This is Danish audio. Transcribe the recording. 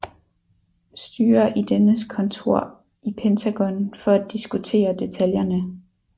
Styer i dennes kontor i Pentagon for at diskutere detaljerne